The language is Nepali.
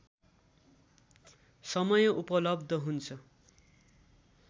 समय उपलब्ध हुन्छ